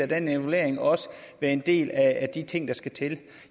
den evaluering og være en del af de ting der skal til